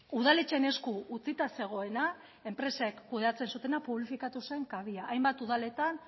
udaletxeen esku utzita zegoena enpresek kudeatzen zutena publifikatu zen kabia hainbat udaletan